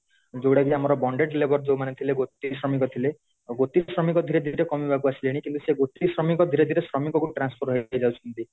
ଯୋଉଗୁଡାକି ଆମର bounded labour ଯୋଉମାନେ ଥିଲେ ଗୋଟିକି ଶ୍ରମିକ ଥିଲେ ଗୋଟିକି ଶ୍ରମିକ ଧୀରେ ଧୀରେ କମିବାକୁ ଆସିଲେଣି କିନ୍ତୁ ସେଇ ଗୋଟିକ ଶ୍ରମିକ ଧୀରେ ଧୀରେ ଶ୍ରମିକ କୁ transform ହଇକି ଯାଉଛନ୍ତି